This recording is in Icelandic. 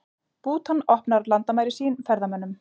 Bútan opnar landamæri sín ferðamönnum